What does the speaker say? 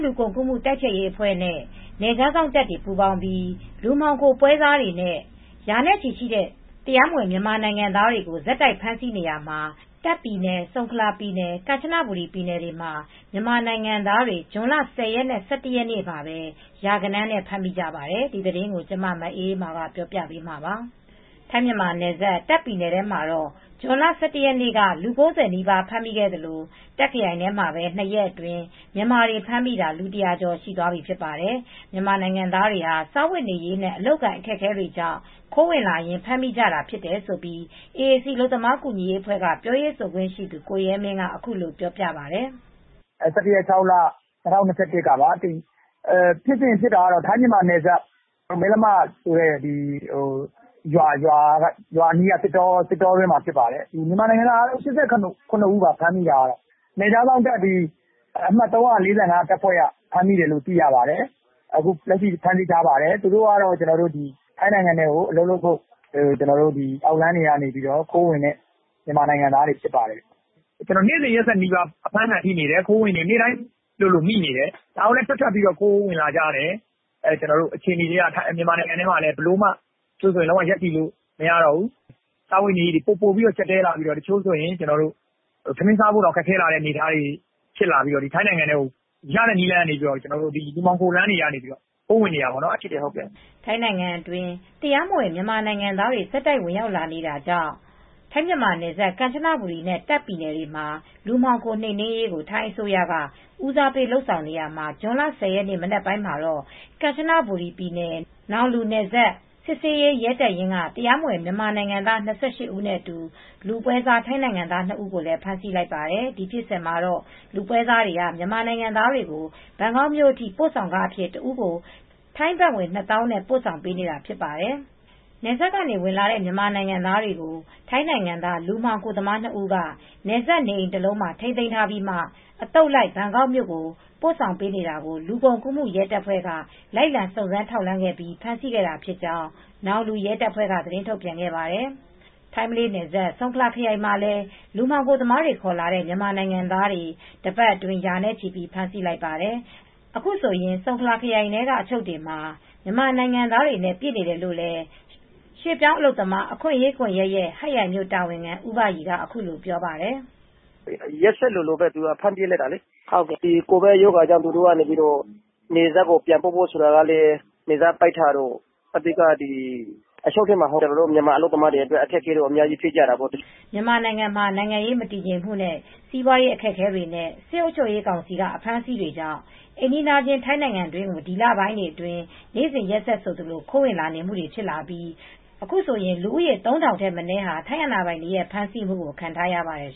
လူကုန်ကူးမှု တိုက်ဖျက်ရေး တာဝန်ရှိသူတွေနဲ့ နယ်ခြားစောင့်တပ်တို့ ပူးပေါင်းပြီး လူမှောင်ခိုသူတွေကို နှိမ်နင်းမှုတွေ တိုးမြှင့်လာရာက အခုလို ဖမ်းဆီးမိနေတာပါ။ အပြည့်အစုံကိုတော့ ဗွီအိုအေမြန်မာပိုင်း ထိုင်းအခြေစိုက် သတင်းထောက် မအေးအေးမာ တင်ပြပေးထားပါတယ်။ ထိုင်း-မြန်မာနယ်စပ် တာ့ခ်ပြည်နယ်ထဲမှာတော့ ဇွန်လ ၁၁ ရက်နေ့က လူ ၉၀ နီးပါး ဖမ်းမိခဲ့သလို တာ့ခ်ခရိုင်ထဲမှာပဲ ၂ ရက်အတွင်း မြန်မာတွေဖမ်းမိတာ လူ ၁၀၀ ကျော်သွားပြီ ဖြစ်ပါတယ်။ မြန်မာနိုင်ငံသားတွေဟာ စားဝတ်နေရေးနဲ့ အလုပ်အကိုင် အခက်အခဲတွေကြောင့် ခိုးဝင်လာရင်း ဖမ်းမိကြတာဖြစ်တယ်လို့ AAC အလုပ်သမား ကူညီရေးအဖွဲ့က ပြောရေးဆိုခွင့်ရှိသူ ကိုရဲမင်းက အခုလိုပြောပါတယ်။ “၁၁ ရက် ၆ လ ၂၀၂၁ ကပါ၊ ဖြစ်စဉ်ကတော့ ထိုင်း-မြန်မာနယ်စပ် မယ်လမဆိုတဲ့ ရွာအနီးက သစ်တောအတွင်းမှာ ဖြစ်ပါတယ်။ မြန်မာနိုင်ငံသား ၈၇ ဦးပါ။ ဖမ်းမိတာကတော့ နယ်ခြားစောင့်တပ်ဖွဲ့အမှတ် ၃၄၅ တပ်ဖွဲ့က ဖမ်းမိတယ်လို့ သိရပါတယ်။ အခုလက်ရှိ ဖမ်းဆီးထားပါတယ်။ သူတို့ကတော့ ထိုင်းနိုင်ငံထဲကို အလုပ်လုပ်ဖို့ အောက်လမ်းတွေကနေ ခိုးဝင်တဲ့ မြန်မာနိုင်ငံသားတွေ ဖြစ်ပါတယ်။ နေ့စဉ်ရက်ဆက် ဖမ်းမိနေတယ်။ ခိုးဝင်တွေ နေ့စဉ်မိတယ်။ ဒါကိုလည်း ဆက်ဝင်နေတယ်။ မြန်မာနိုင်ငံထဲမှာလည်း ဘယ်လိုမှ ရပ်တည်လို့မရတော့ဘူး။ စားဝတ်နေရေးတွေ ပိုပိုကျပ်တည်းလာတော့ တချို့ဆို ထမင်းစားဖို့ အခြေအနေတွေ ခက်ခဲလာပြီးတော့ ထိုင်းနိုင်ငံထဲကို ရတဲ့နည်းနဲ့ လူမှောင်ခိုလမ်းကနေ ခိုးဝင်လာတာပေါ့။” ထိုင်းနိုင်ငံအတွင်း တရားမဝင် မြန်မာနိုင်ငံသားတွေ ဆက်တိုက်ဝင်ရောက်လာနေတဲ့ ထိုင်း-မြန်မာနယ်စပ် ကန်ချနဘူရီနဲ့ တာ့ခ်ပြည်နယ်တွေမှာ လူမှောင်ခိုနှိမ်နင်းရေးကို ထိုင်းအစိုးရက ဦးစားပေး လုပ်ဆောင်နေရာမှာ ဇွန်လ ၁၀ ရက်နေ့ မနက်ပိုင်းမှာတော့ ကန်ချနဘူရီပြည်နယ် နောင်လူနယ်စပ် စစ်ဆေးရေး ရဲတပ်ရင်းက တရားမဝင် မြန်မာနိုင်ငံသား ၂၈ ဦးနဲ့အတူ လူပွဲစား ထိုင်းနိုင်ငံသား နှစ်ဦးကို ဖမ်းဆီးလိုက်ပါတယ်။ ဒီဖြစ်စဉ်မှာတော့ လူပွဲစားတွေက မြန်မာနိုင်ငံသားတွေကို ဘန်ကောက်မြို့အထိ ပို့ဆောင်ခအဖြစ် တဦးကို ထိုင်းဘတ်ငွေ ၂၀,၀၀၀ နဲ့ ပို့ဆောင်ပေးနေတာ ဖြစ်ပါတယ်။ နယ်စပ်ကနေဝင်လာတဲ့ မြန်မာနိုင်ငံသားတွေကို ထိုင်းနိုင်ငံသား လူမှောင်ခိုသမား နှစ်ဦးက နယ်စပ်နေအိမ်တလုံးမှာ ထိန်းသိမ်းထားပြီးမှ အသုတ်လိုက် ဘန်ကောက်မြို့ကို ပို့ဆောင်ပေးနေတာကို လူကုန်ကူးရဲတပ်ဖွဲ့က လိုက်လံ စုံစမ်းထောက်လှမ်းပြီး ဖမ်းဆီးခဲ့တာဖြစ်ကြောင်း နောင်လူရဲတပ်ဖွဲ့က သတင်းထုတ်ပြန်ခဲ့ပါတယ်။ ထိုင်း-မလေးနယ်စပ် ဆုံခလာခရိုင်မှာလည်း လူမှောင်ခိုသမားတွေ ခေါ်လာတဲ့ မြန်မာနိုင်ငံသားတွေ တပတ်အတွင်း ရာနဲ့ချီ ဖမ်းဆီးလိုက်ပါတယ်။ အခုဆိုရင် ဆုံခလာခရိုင်ထဲက အချုပ်တွေမှာ မြန်မာနိုင်ငံသားတွေနဲ့ ပြည့်နေတယ်လို့လည်း ရွှေ့ပြောင်းအလုပ်သမား အခွင့်အရေးကွန်ရက်ရဲ့ ဟတ်ရိုင်မြို့ တာဝန်ခံ ဦးဘရီက ပြောပါတယ်။ “ရက်ဆက်ဆိုသလို ဖမ်းပစ်လိုက်တာ။ ကိုဗစ်ရောဂါကြောင့် နယ်စပ်ကိုပြန်ပို့ဖို့ ဆိုတာကလည်း နယ်စပ်တွေ ပိတ်ထားတော့ အဓိက အချုပ်ထဲမှာ ကျနော်တို့ မြန်မာအလုပ်သမားတွေအတွက် အခက်အခဲတွေ ဖြစ်တာပေါ့။” မြန်မာနိုင်ငံမှာ နိုင်ငံရေး မတည်ငြိမ်မှုနဲ့ စီးပွားရေး အခက်အခဲတွေနဲ့ စစ်အုပ်ချုပ်ရေးကောင်စီက အဖမ်းအဆီးတွေကြောင့် အိမ်နီးချင်း ထိုင်းနိုင်ငံတွင်းကို ဒီလပိုင်းတွေအတွင်း နေ့စဉ်ရက်ဆက် ခိုးဝင်လာနေမှုတွေ ဖြစ်လာပြီး အခုဆိုရင် လူဦးရေ ၃,၀၀၀ ထက်မနည်းဟာ ထိုင်းအာဏာပိုင်တွေရဲ့ ဖမ်းဆီးမှုကို ခံထားရပါတယ်